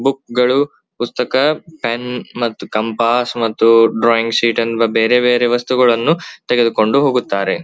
Book ಗಳು ಪುಸ್ತಕ pen ಮತ್ತ್ ಕಂಪಾಸ್ ಮತ್ತು ಡ್ರಾಯಿಂಗ್ ಶೀಟ್ ಎನ್ನುವ ಬೇರೆ ಬೇರೆ ವಸ್ತುಗಳನ್ನು ತೆಗೆದುಕೊಂಡು ಹೋಗುತ್ತಾರೆ.